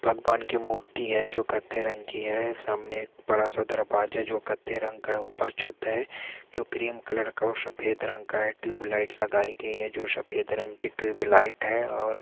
भगवान की मूर्ति है जो कत्थे रंग की है सामने एक बड़ा-सा दरवाजा जो कत्थे रंग का है ऊपर छत है जो क्रीम कलर का और सफ़ेद रंग का है ट्यूब लाइट लगाई गयी है जो शफेद रंग की ट्यूब लाइट है और--